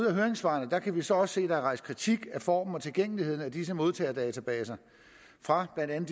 i høringssvarene kan vi så også se at der er rejst kritik af formen og tilgængeligheden af disse modtagerdatabaser fra blandt